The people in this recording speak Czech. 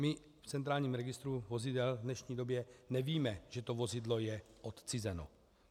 My v centrálním registru vozidel v dnešní době nevíme, že to vozidlo je odcizeno.